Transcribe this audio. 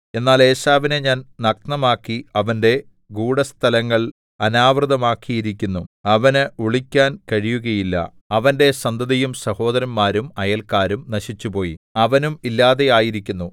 എന്നാൽ ഏശാവിനെ ഞാൻ നഗ്നമാക്കി അവന്റെ ഗൂഢസ്ഥലങ്ങൾ അനാവൃതമാക്കിയിരിക്കുന്നു അവനു ഒളിക്കാൻ കഴിയുകയില്ല അവന്റെ സന്തതിയും സഹോദരന്മാരും അയൽക്കാരും നശിച്ചുപോയി അവനും ഇല്ലാതെ ആയിരിക്കുന്നു